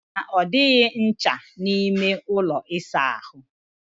Ị sị na ọ dịghị ncha n'ime ụlọ ịsa ahụ?